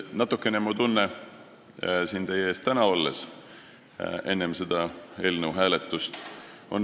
Natukene sama tunne on ka minul enne selle eelnõu hääletust.